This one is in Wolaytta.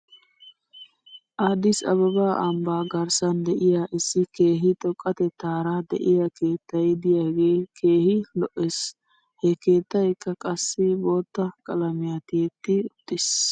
Addis ababa ambbaa garssan de'iyaa issi keehi xoqqatettaara de'iyaa keettay de'iyaagee keehi lo'es. He keettaykka qassi bootta qalamiyan tiyetti uttis.